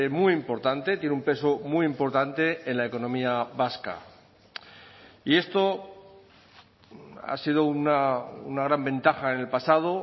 muy importante tiene un peso muy importante en la economía vasca y esto ha sido una gran ventaja en el pasado